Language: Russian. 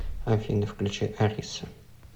афина включить ариса